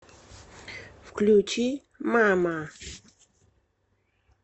включи мама